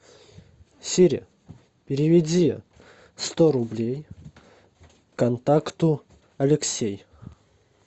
сири переведи сто рублей контакту алексей